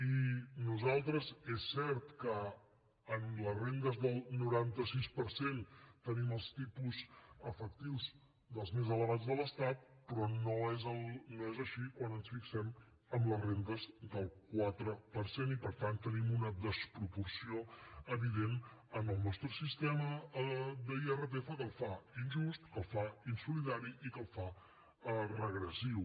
i nosaltres és cert que en les rendes dels noranta sis per cent tenim els tipus efectius dels més elevats de l’estat però no és així quan ens fixem en les rendes del quatre per cent i per tant tenim una desproporció evident en el nostre sistema d’irpf que el fa injust que el fa insolidari i que el fa regressiu